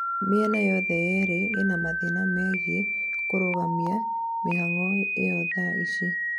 mĩena yothe yerĩ ĩna mathĩna megiĩ kũrũgamia mĩhang'o ĩyo thaa ici